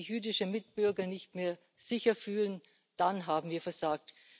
Wenn sich jüdische Mitbürger nicht mehr sicher fühlen, dann haben wir versagt.